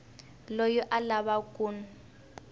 loyi a lavaka ku n